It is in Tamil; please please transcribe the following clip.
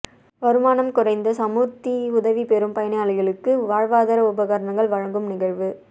வருமானம் குறைந்த சமுர்த்தி உதவி பெறும் பயனாளிகளுக்கு வாழ்வாதார உபகரணங்கள் வழங்கும் நிகழ்வு